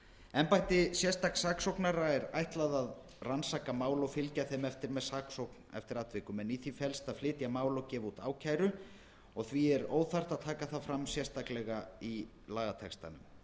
embætti sérstaks saksóknara er ætlað að rannsaka mál og fylgja þeim eftir með saksókn eftir atvikum en í því felst að flytja mál og gefa út ákæru og því er óþarft að taka það sérstaklega fram í lagatextanum